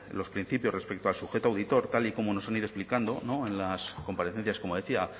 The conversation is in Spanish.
los principios respecto al sujeto auditor tal y como nos han ido explicando en las comparecencias como decía